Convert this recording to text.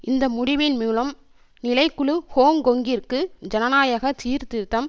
இந்த முடிவின் மூலம் நிலை குழு ஹோங்கொங்கிற்கு ஜனநாயக சீர்திருத்தம்